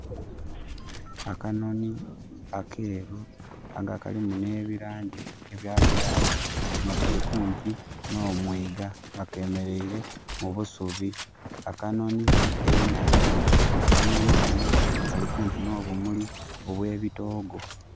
Akanoni akeeru aga kalimu ne bilangi ebya black nga kali kumpi no mwiga nga kemereire mu busubi. Akanoni enange, akanoni kano nga kali kumpi no bumuli obwe bitoogo